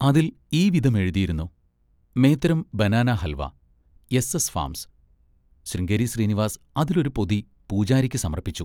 അതിൽ ഈവിധമെഴുതിയിരുന്നു: മേത്തരം ബനാനാഹൽവ-എസ്.എസ്.ഫാമ്സ്. ശൃംഗേരി ശ്രീനിവാസ് അതിലൊരു പൊതി പൂജാരിക്ക് സമർപ്പിച്ചു.